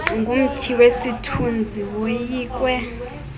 ngumthi wesithunzi woyikwe